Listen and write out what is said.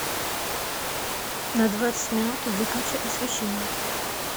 на двадцать минут выключи освещение